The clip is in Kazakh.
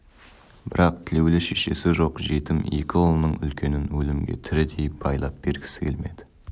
бірақ тілеулі шешесі жоқ жетім екі ұлының үлкенін өлімге тірідей байлап бергісі келмеді